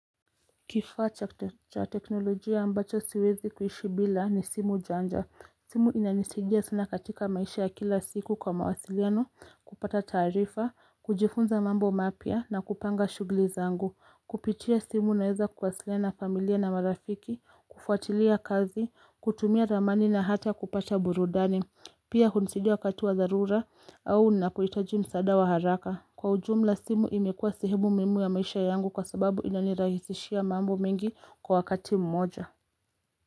Kifaa cha teknolojia ambacho siwezi kuishi bila ni simu janja. Simu inanisaidia sana katika maisha ya kila siku kwa mawasiliano, kupata tarifa, kujifunza mambo mapya na kupanga shughuli zangu. Kupitia simu naeza kuwasiliana familia na marafiki, kufuatilia kazi, kutumia ramani na hata kupata burudani. Pia hunisaida wakati wa dharura au ninapohitaji msaada wa haraka. Kwa ujumla simu imekua sahemu muhimu ya maisha yangu kwa sababu inanirahisishia mambo mengi kwa wakati mmoja.